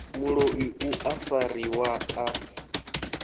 muloi u a fariwa a